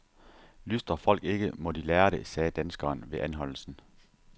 Lystrer folk ikke, må de lære det, sagde danskeren ved anholdelsen.